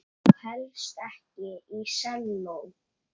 Og helst ekki selló.